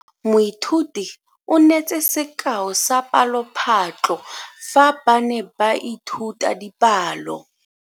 Moithuti o neetse sekao sa palophatlo fa ba ne ba ithuta dipalo.